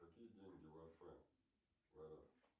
какие деньги в